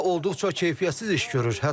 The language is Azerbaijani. Özləri isə olduqca keyfiyyətsiz iş görür.